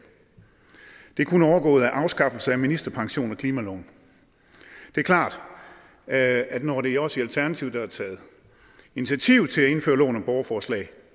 det er kun overgået af afskaffelse af ministerpension og klimaloven det er klart at at når det er os i alternativet der har taget initiativ til at indføre loven om borgerforslag